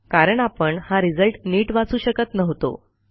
कारण आपण हा रिझल्ट नीट वाचू शकत नव्हतो